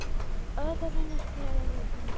Óðurinn til gleðinnar.